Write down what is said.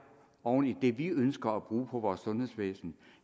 oven i det vi ønsker at bruge på vores sundhedsvæsen